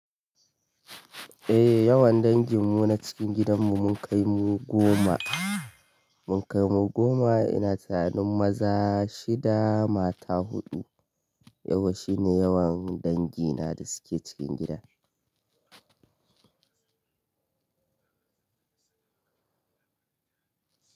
Eh yawan danginmu na cikin gidan mu mun kai mu goma, mun kai mu goma ina tanin maza shida mata huɗu. Yauwa shine yawan dangina da suke cikin gida.